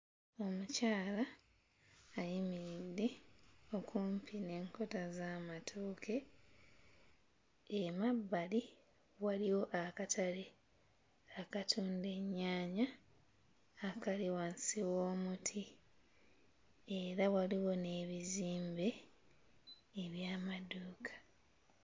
Omukyala ayimiridde okumpi n'enkota z'amatooke. Emabbali waliwo akatale akatunda ennyaanya akali wansi w'omuti era waliwo n'ebizimbe eby'amaduuka.